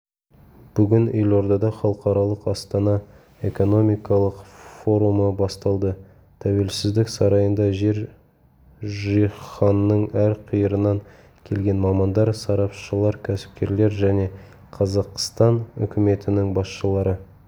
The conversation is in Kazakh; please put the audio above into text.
бүгін елордада халықаралық іастана экономикалық форумы басталды тәуелсіздік сарайында жер жаһанның әр қиырынан келген мамандар сарапшылар кәсіпкерлер және қазақстан үкіметінің басшылары